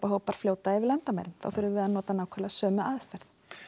hópar flæða yfir landamæri þá þurfum við að nota nákvæmlega sömu aðferð